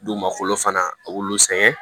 Dugumakolo fana a b'olu sɛgɛn